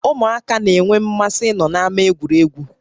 Ụmụaka na-énwé mmasị ịnọ na-ámá egwuregwu